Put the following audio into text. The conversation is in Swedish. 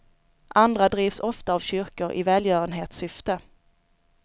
Andra drivs ofta av kyrkor i välgörenhetssyfte.